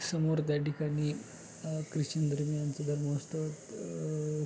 समोर त्या ठिकाणी ख्रिचन धर्मियांच धर्मस्थळ अ--